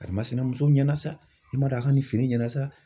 Karimasina muso ɲɛna sa i b'a dɔn a ka ni feere ɲɛna sa